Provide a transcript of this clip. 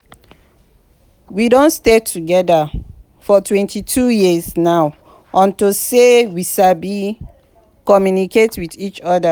we don stay together for twenty two years now unto say we sabi communicate with each other.